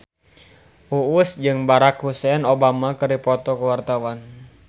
Uus jeung Barack Hussein Obama keur dipoto ku wartawan